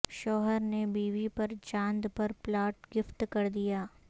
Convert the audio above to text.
شوہر نے بیوی پر چاند پر پلاٹ گفٹ کردیا